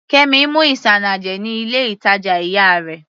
Kemi mú isanaje ní ilé ìtàjà ìyá rẹ̀.